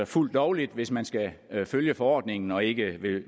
fuldt lovligt hvis man skal følge forordningen og ikke